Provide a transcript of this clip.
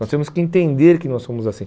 Nós temos que entender que nós somos assim.